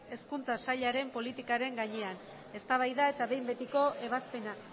hezkuntza sailaren politikaren gainean eztabaida eta behin betiko ebazpena